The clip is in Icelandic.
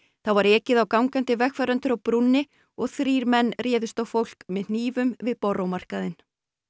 þá var ekið á gangandi vegfarendur á brúnni og þrír menn réðust á fólk með hnífum við Borough markaðinn